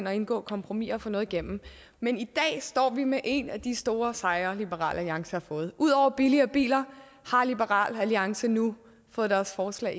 at indgå kompromiser og få noget igennem men i dag står vi med en af de store sejre liberal alliance har fået ud over billige biler har liberal alliance nu fået deres forslag